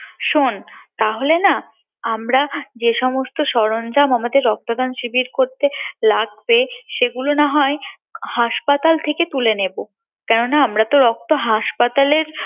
শোন তাহলে না আমরা যেসমস্ত সরঞ্জাম আমদের রক্তদান শিবির করতে লাগবে সেগুলো নাহয় হাসপাতাল থেকে তুলে নেবো কেননা আমরা তো রক্ত হাসপাতালের